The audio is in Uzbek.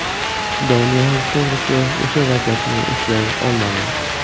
Doniyor to‘g‘risi o‘sha vaziyatni eslay olmadi.